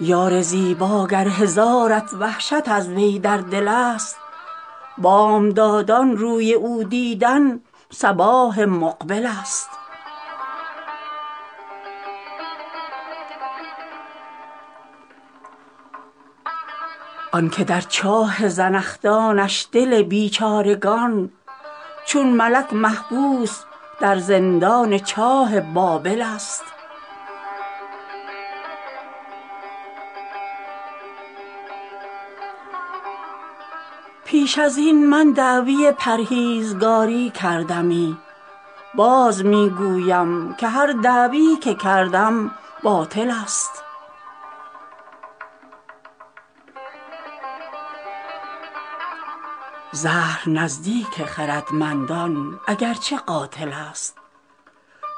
یار زیبا گر هزارت وحشت از وی در دل ست بامدادان روی او دیدن صباح مقبل ست آن که در چاه زنخدانش دل بیچارگان چون ملک محبوس در زندان چاه بابل ست پیش از این من دعوی پرهیزگاری کردمی باز می گویم که هر دعوی که کردم باطل ست زهر نزدیک خردمندان اگر چه قاتل ست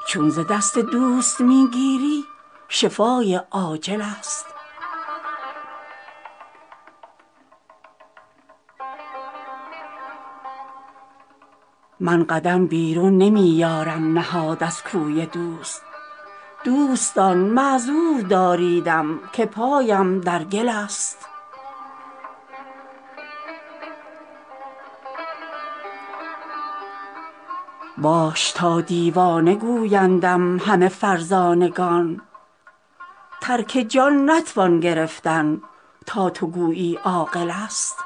چون ز دست دوست می گیری شفای عاجل ست من قدم بیرون نمی یارم نهاد از کوی دوست دوستان معذور داریدم که پایم در گل ست باش تا دیوانه گویندم همه فرزانگان ترک جان نتوان گرفتن تا تو گویی عاقل ست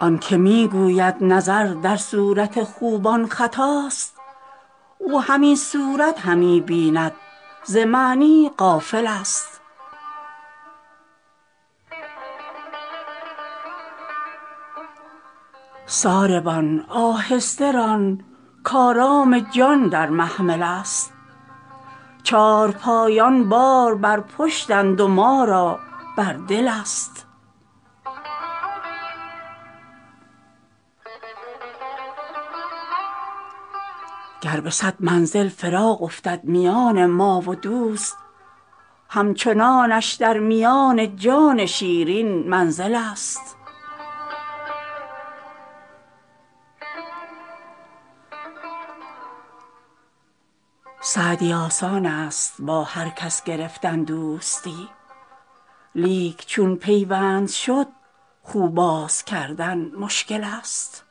آن که می گوید نظر در صورت خوبان خطاست او همین صورت همی بیند ز معنی غافل ست ساربان آهسته ران کآرام جان در محمل ست چارپایان بار بر پشتند و ما را بر دل ست گر به صد منزل فراق افتد میان ما و دوست همچنانش در میان جان شیرین منزل ست سعدی آسان ست با هر کس گرفتن دوستی لیک چون پیوند شد خو باز کردن مشکل ست